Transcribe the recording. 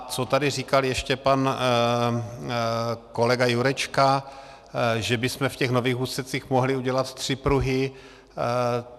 A co tady říkal ještě pan kolega Jurečka, že bychom v těch nových úsecích mohli udělat tři pruhy.